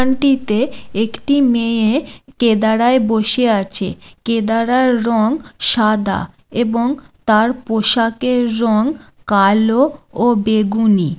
একান্তি তে একটি মেএএয়ে কেদারায় বসে আছে কেদারার রং সাদা এবং তার পোশাকের রং কালোও ও বেগুননি।